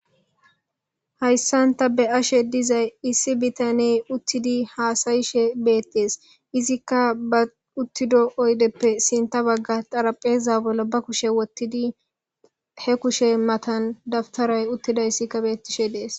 Hayssan ta beyashe de'izayssi issi bitaney uttidi haasa'she dizaysa Izikka be uttido oydezappe sintha bagara xarapheeza bolla be kushe wothidi he kushey matanika xarapheeza bolla dawutaray beetishe de'ees.